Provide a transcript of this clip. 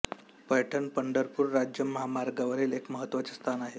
पैठण पंढरपूर राज्य महामार्गावरील एक महत्त्वाचे स्थान आहे